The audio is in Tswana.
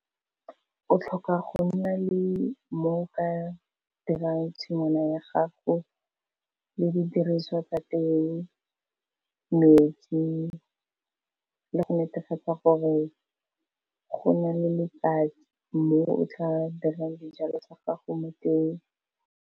O tlhoka go nna le mo o ka dirang tshingwana ya gago, le di diriswa tsa teng, metsi le go netefatsa gore go na le letsatsi mo o tla dirang di jalo tsa gago mo teng.